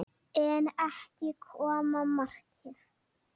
En ekki kom markið.